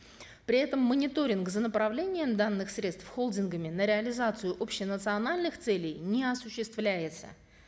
при этом мониторинг за направлением данных средств холдингами на реализацию общенациональных целей не осуществляется